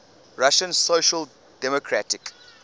russian social democratic